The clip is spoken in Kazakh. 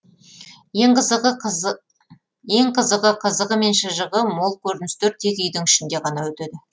ең қызығы қызығы мен шыжығы мол көріністер тек үйдің ішінде ғана өтеді